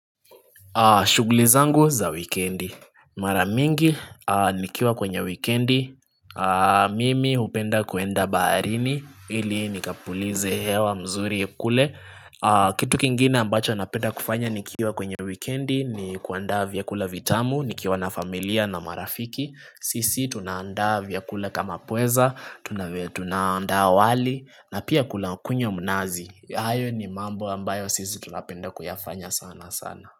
Shuguli zangu za wikendi. Maramingi nikiwa kwenye weekendi. Mimi hupenda kuenda baharini ili nikapulize hewa mzuri kule. Kitu kingine ambacho napenda kufanya nikiwa kwenye weekendi ni kuandaa vya kula vitamu, nikiwa na familia na marafiki. Sisi tunaanda vyakula kama pweza, tunaanda wali na pia kuna kunywa mnazi. Hayo ni mambo ambayo sisi tunapenda kuyafanya sana sana.